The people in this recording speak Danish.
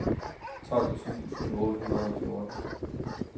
tolv tusind otte hundrede og fjorten